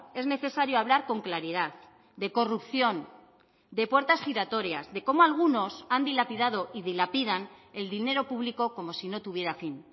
es necesario hablar con claridad de corrupción de puertas giratorias de cómo algunos han dilapidado y dilapidan el dinero público como si no tuviera fin